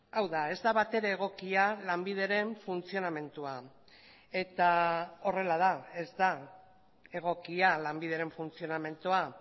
hau da ez da batere egokia lanbideren funtzionamendua eta horrela da ez da egokia lanbideren funtzionamendua